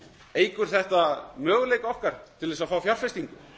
eykur þetta möguleika okkar til þess að fá fjárfestingu